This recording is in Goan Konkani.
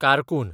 कारकून